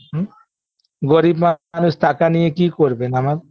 হুম গরিব মানুষ টাকা নিয়ে কি করবেন আমার